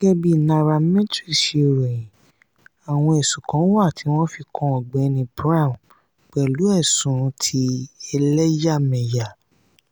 gẹ́gẹ́ bí nairametrics ṣe ròyìn àwọn ẹ̀sùn kan wáà tí wọ́n fi kan ọ̀gbẹ́ni brown pẹ̀lú ẹsùn ti ẹlàyàmẹyà